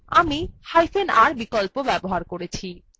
আমিhyphen r বিকল্প ব্যবহার করেছি